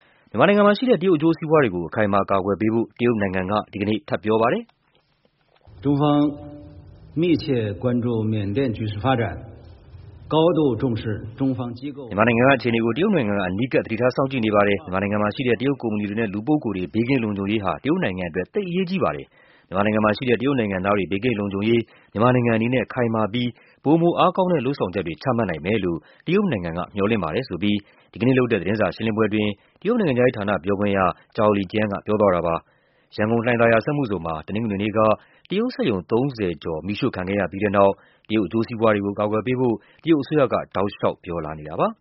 မြန်မာနိုင်ငံမှာရှိတဲ့ တရုတ်အကျိုးစီးပွားတွေကို အခိုင်အမာ အကာအကွယ်ပေးဖို့ တရုတ်နိုင်ငံက ဒီကနေ့ ထပ်ပြောပါတယ်။ "မြန်မာနိုင်ငံက အခြေအနေကို တရုတ်နိုင်ငံက အနီးကပ် သတိထားစောင့်ကြည့်နေပါတယ်။ မြန်မာနိုင်ငံမှာရှိတဲ့ တရုတ်ကုမ္ပဏီတွေနဲ့ လူပုဂ္ဂိုလ်တွေ ဘေးကင်းလုံခြုံရေးက တရုတ်နိုင်ငံအတွက် သိပ်အရေးကြီးပါတယ်။ မြန်မာနိုင်ငံမှာရှိတဲ့ တရုတ်နိုင်ငံသားတွေ ဘေးကင်းလုံခြုံရေး မြန်မာနိုင်ငံအနေနဲ့ ခိုင်မာပြီး ပိုမို အားကောင်းလုပ်ဆောင်ချက်တွေ ချမှတ်နိုင်မယ်လို့ တရုတ်နိုင်ငံက မျှော်လင့်ပါတယ်။" ဆိုပြီး ဒီကနေ့လုပ်တဲ့ သတင်းစာရှင်းလင်းပွဲအတွင်း တရုတ်နိုင်ငံခြားရေးဌာန ပြောခွင့်ရ Zhao Lijian က ပြောသွားပါတယ်။ ရန်ကုန်၊ လှိုင်သာယာစက်မှုဇုန်မှာ တနင်္ဂနွေနေ့က တရုတ်ပိုင်စက်ရုံ ၃၀ ကျော် မီးရှို့ခံခဲ့ရပြီးတဲ့နောက် တရုတ် အကျိုးစီးပွားတွေကို အကာအကွယ်ပေးဖို့ တရုတ်အစိုးရက တောက်လျှောက် ပြောလာနေတာပါ